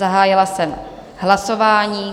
Zahájila jsem hlasování.